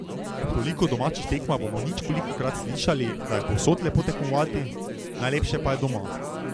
Ob toliko domačih tekmah bomo ničkolikokrat slišali, da je povsod lepo tekmovati, najlepše pa je doma.